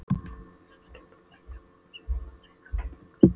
sem skjaldarmerki rógs verða dregin fram hin löngu spjótin.